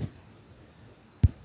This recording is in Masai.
inherited?